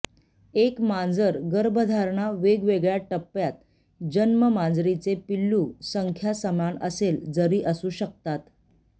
एक मांजर गर्भधारणा वेगवेगळ्या टप्प्यात जन्म मांजरीचे पिल्लू संख्या समान असेल जरी असू शकतात